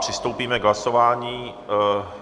Přistoupíme k hlasování.